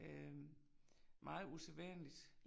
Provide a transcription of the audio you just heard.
Øh meget usædvanligt